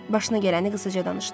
Başına gələni qısaca danışdı.